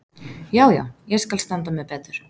Já, já, ég skal standa mig betur.